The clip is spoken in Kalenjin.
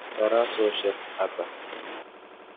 Tarasosyek ata?